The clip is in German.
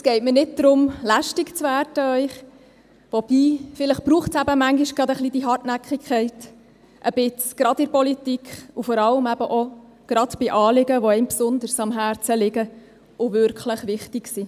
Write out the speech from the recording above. Es geht mir nicht darum, Ihnen lästig zu werden – wobei, vielleicht braucht es zuweilen ein wenig Hartnäckigkeit, gerade in der Politik, und gerade bei Anliegen, die einem besonders am Herzen liegen und wirklich wichtig sind.